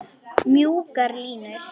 Mjúkar línur.